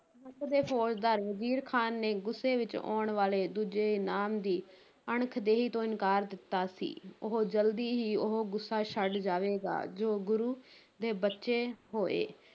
ਦੇ ਫ਼ੌਜਦਾਰ ਵਜ਼ੀਰ ਖ਼ਾਨ ਨੇ ਗੁੱਸੇ ਵਿਚ ਆਉਣ ਵਾਲੇ ਦੂਜੇ ਇਨਾਮ ਦੀ ਅਣਖ ਦੇਹੀ ਤੋਂ ਇਨਕਾਰ ਦਿੱਤਾ ਸੀ, ਉਹ ਜਲਦੀ ਹੀ ਉਹ ਗੁੱਸਾ ਛੱਡ ਜਾਵੇਗਾ ਜੋ ਗੁਰੂ ਦੇ ਬਚੇ ਹੋਏ